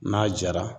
N'a jara